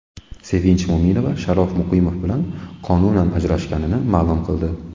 Sevinch Mo‘minova Sharof Muqimov bilan qonunan ajrashganini ma’lum qildi .